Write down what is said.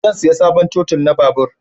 Zan saya sabon totul na babur